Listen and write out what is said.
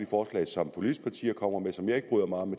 forslag som politiske partier kommer med som jeg ikke bryder mig om